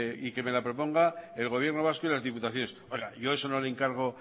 y que me la proponga el gobierno vasco y las diputaciones oiga yo eso no lo encargo